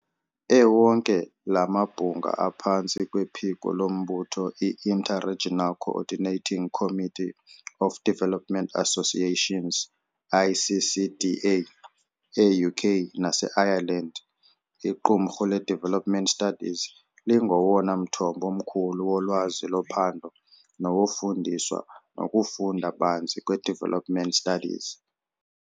Ewonke la mabhunga aphantsi kwephiko lombutho i-Inter-regional Coordinating Committee of Development Associations, ICCDA. E-UK nase-Ireland, iqumrhu le-development Studies lingowona mthombo mkhulu wolwazi lophando nowofundiswa nokufunda banzi kwi-development studies.